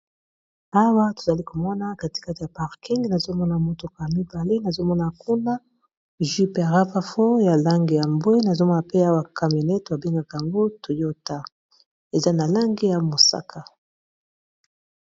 Awa tozali komona katikate ya parking nazomona motoko ya mibale nazomona kuna juprappa fo ya lange ya mbwe, nazomona pe awa kaminete babengaka yango toyota eza na lange ya mosaka.